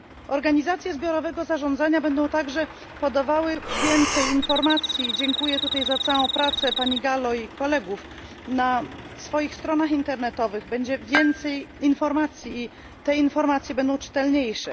Organizacje zbiorowego zarządzania będą także podawały więcej informacji i dziękuję tutaj za całą pracę pani Gallo i kolegów na ich stronach internetowych będzie więcej informacji i te informacje będą czytelniejsze.